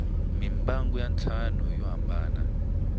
mimbangu ya ntlhanu yo hambana